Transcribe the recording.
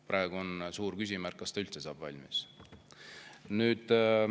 Praegu on suur küsimärk, kas ta üldse saab valmis.